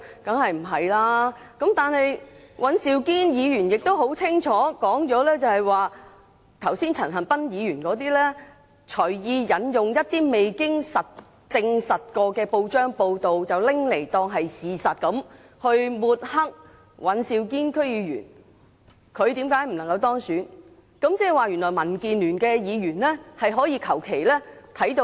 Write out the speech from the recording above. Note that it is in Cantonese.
但是，尹兆堅議員清楚表明，陳恒鑌議員剛才隨意引用一些未經證實的報章報道，當作事實來抹黑尹兆堅議員，指出他不能夠當選的原因。